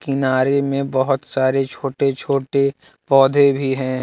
किनारे में बहुत सारे छोटे छोटे पौधे भी हैं।